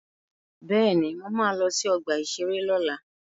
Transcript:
Bẹ́ẹ̀ni, mo ma lọ sí ọgbà-ìṣeré lọ́la